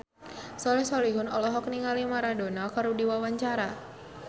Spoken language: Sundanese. Soleh Solihun olohok ningali Maradona keur diwawancara